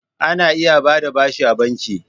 Ana iya ba da bashi a banki.